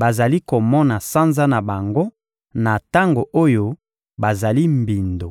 bazali komona sanza na bango, na tango oyo bazali mbindo.